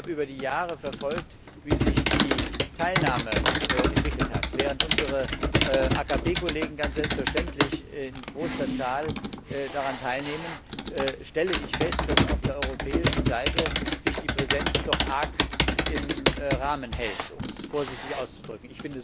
Ich habe über die Jahre verfolgt, wie sich die Teilnahme entwickelt hat. Während unsere AKP Kollegen ganz selbstverständlich in großer Zahl daran teilnehmen, stelle ich fest, dass sich auf der europäischen Seite die Präsenz doch arg im Rahmen hält, um es vorsichtig auszudrücken.